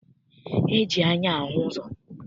E ji anya ahụ ụzọ.